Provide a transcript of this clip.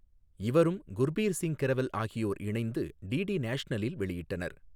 இவரும் குா்பீா் சிங் கிரெவல் ஆகியோா் இணைந்து டிடி நேஷனலில் வெளியிட்டனா்.